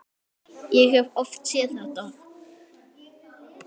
Ég hef oft séð þetta.